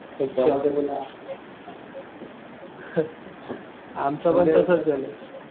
अच्छा. आमचं पण तसंच झालं.